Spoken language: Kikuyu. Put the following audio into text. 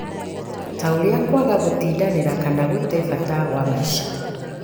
ta ũrĩa kwaga gũtindanĩra kana gũte bata wa maica.